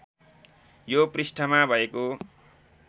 यो पृष्ठमा भएको